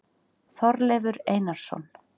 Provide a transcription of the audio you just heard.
Þorleifur Einarsson.